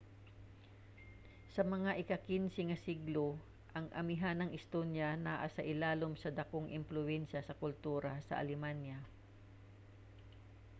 sa mga ika-15 nga siglo ang amihanang estonia naa sa ilalum sa dakong impluwensya sa kultura sa alemanya